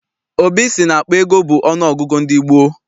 Obi sị na akpa ego bụ ọnụ ọgụgụ ndị gboo.